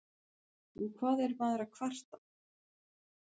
Og hvað er maður að kvarta?